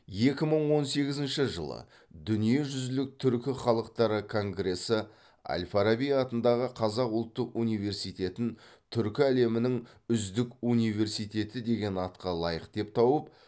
екі мың он сегізінші жылы дүниежүзілік түркі халықтары конгресі әл фараби атындағы қазақ ұлттық университетін түркі әлемінің үздік университеті деген атқа лайық деп тауып